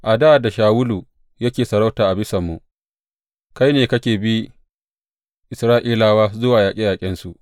A dā da Shawulu yake sarauta a bisanmu, kai ne kake bi Isra’ilawa zuwa yaƙe yaƙensu.